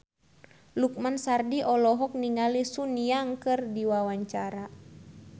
Lukman Sardi olohok ningali Sun Yang keur diwawancara